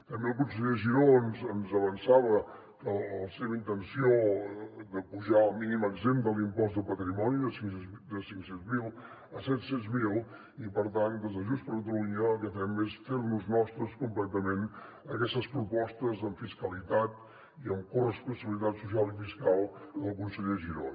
també el conseller giró ens avançava la seva intenció d’apujar el mínim exempt de l’impost de patrimoni de cinc cents mil a set cents mil i per tant des de junts per catalunya el que fem és fer nos nostres completament aquestes propostes en fiscalitat i en corresponsabilitat social i fiscal del conseller giró